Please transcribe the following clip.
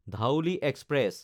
Dhauli express